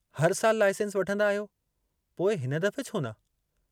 हर साल लाईसेंस वठंदा आहियो, पोइ हिन दफ़े छोन